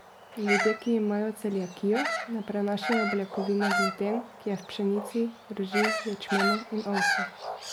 Ljudje, ki imajo celiakijo, ne prenašajo beljakovine gluten, ki je v pšenici, rži, ječmenu in ovsu.